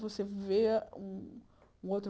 Você vê um outro.